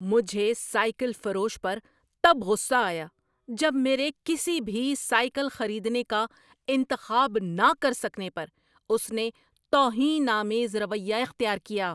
مجھے سائیکل فروش پر تب غصہ آیا جب میرے کسی بھی سائیکل خریدنے کا انتخاب نہ کر سکنے پر اس نے توہین آمیز رویہ اختیار کیا۔